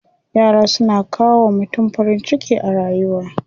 Yara suna kawo wa mutum farin ciki a rayuwa.